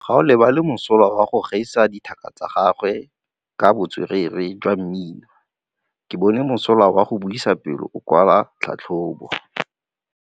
Gaolebalwe o mosola go gaisa dithaka tsa gagwe ka botswerere jwa mmino. Ke bone mosola wa go buisa pele o kwala tlhatlhobô.